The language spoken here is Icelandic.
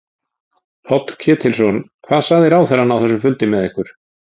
Páll Ketilsson: Hvað sagði ráðherrann á þessum fundi með ykkur?